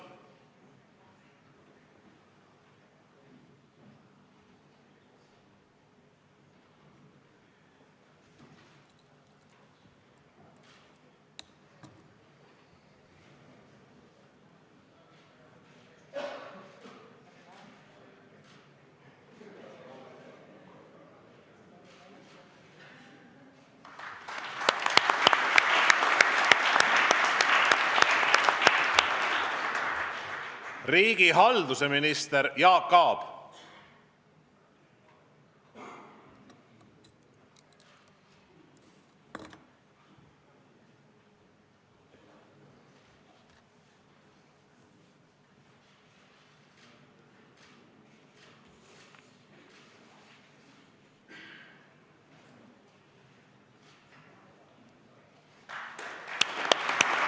Riigihalduse minister Jaak Aab.